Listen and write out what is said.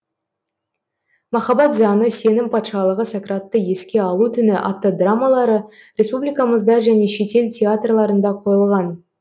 махаббат заңы сенім патшалығы сократты еске алу түні атты драмалары республикамызда және шетел театрларында қойылған